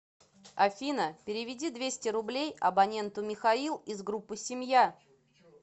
афина переведи двести рублей абоненту михаил из группы семья